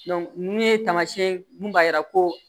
ninnu ye tamasiyɛn mun b'a yira ko